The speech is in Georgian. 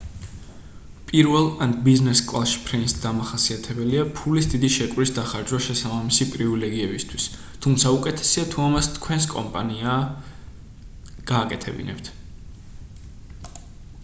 პირველ ან ბიზნეს კლასში ფრენის დამახასიათებელია ფულის დიდი შეკვრის დახარჯვა შესაბამისი პრივილეგიებისთვის თუმცა უკეთესია თუ ამას თქვენს კომპანიაა გააკეთებინებთ